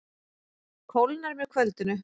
Kólnar með kvöldinu